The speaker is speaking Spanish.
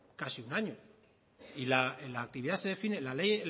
casi un año y la actividad se define la ley